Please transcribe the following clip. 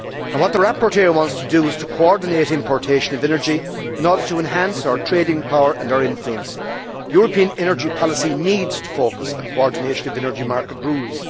What the rapporteur wants to do is to coordinate importation of energy in order to enhance our trading power and our influence. European energy policy needs to focus on coordination of energy market rules.